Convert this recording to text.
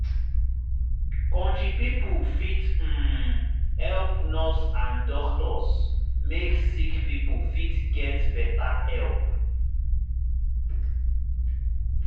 country pipo fit um help nurse and doctors make sick pipo fit get better help.